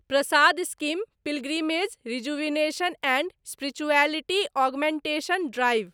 Prasad scheme pilgrimage rejuvenation and spirituality augmentation drive